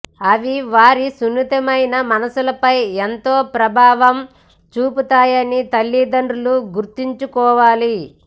అవి వారి సున్నితమనసుపై ఎంతో ప్రభావం చూపుతాయని తల్లిదండ్రులు గుర్తుంచుకోవాలి